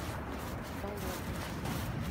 болотное